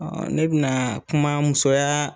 Ɔɔ ne bi na kuma musoya